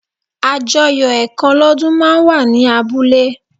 Àjọyọ̀ ẹ̀kan lọ́dún máa ń wà ní abúlé